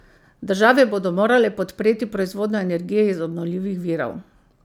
Države bodo morale podpreti proizvodnjo energije iz obnovljivih virov.